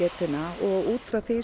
og út frá því